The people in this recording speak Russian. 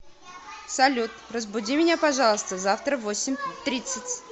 салют разбуди меня пожалуйста завтра в восемь тридцать